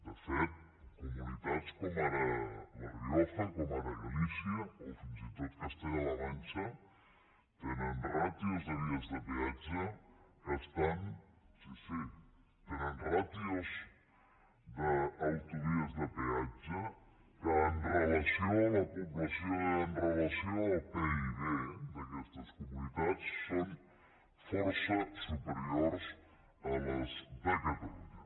de fet comunitats com ara la rioja com ara galícia o fins i tot castella la manxa tenen ràtios de vies de peatge os d’autovies de peatge que amb relació a la població i amb relació al pib d’aquestes comunitats són força superiors a les de catalunya